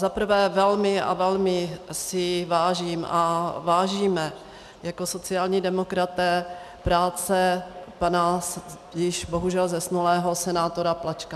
Zaprvé, velmi a velmi si vážím a vážíme jako sociální demokraté práce pana již bohužel zesnulého senátora Plačka.